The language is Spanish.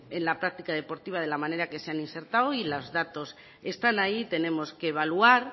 en la práctica deportiva de la manera que se han insertado y los datos están ahí y tenemos que evaluar